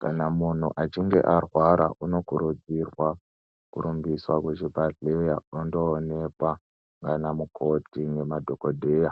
Kana munhu achinge arwara unokurudzirwa kurumbiswa kuchibhedhlera, ondoonekwa naanamukoti nemadhagodheya